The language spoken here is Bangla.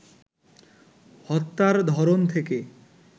হত্যার ধরন থেকে